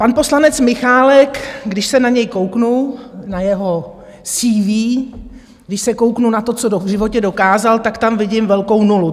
Pan poslanec Michálek, když se na něj kouknu, na jeho CV, když se kouknu na to, co v životě dokázal, tak tam vidím velkou nulu.